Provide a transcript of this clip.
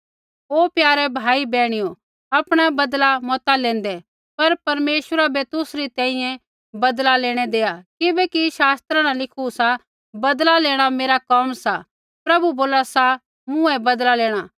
ओ प्यारै भाई बैहणियो आपणा बदला मता लेंदे पर परमेश्वरा बै तुसरी तैंईंयैं बदला लेणै देआ किबैकि शास्त्रा न लिखू सा बदला लेणा मेरा कोम सा प्रभु बोला सा मूँ ही बदला लेणा